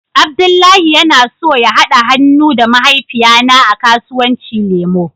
Abdullahi yana so ya hada han'nu da mahaifiya na a kasuwanci lemu.